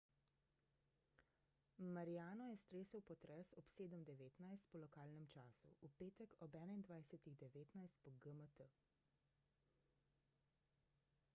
mariano je stresel potres ob 07:19 po lokalnem času v petek ob 21:19 po gmt